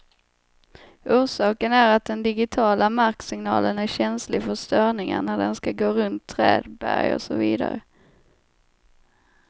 Orsaken är att den digitiala marksignalen är känslig för störningar när den skall gå runt träd, berg och så vidare.